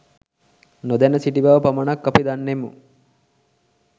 නොදැන සිටි බව පමණක් අපි දන්නෙමු